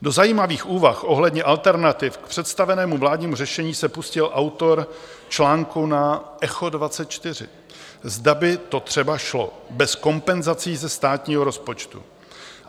Do zajímavých úvah ohledně alternativ k představenému vládnímu řešení se pustil autor článku na Echo24, zda by to třeba šlo bez kompenzací ze státního rozpočtu.